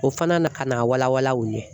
O fana na ka na wala wala u ye